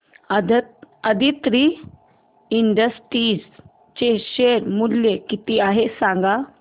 Aditri Industries चे share मूल्य किती आहे सांगा